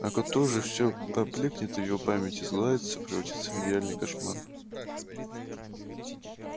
а к утру всё уже поблёкнет в его памяти сгладится превратится в нереальный кошмар